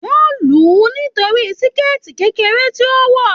Wọn luu nítorí síkẹ́tí kekere tí o wọ.